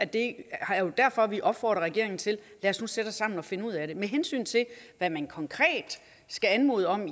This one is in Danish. det er jo derfor vi opfordrer regeringen til lad os nu sætte os sammen og finde ud af det med hensyn til hvad man konkret skal anmode om